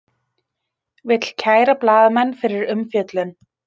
Vill kæra blaðamenn fyrir umfjöllun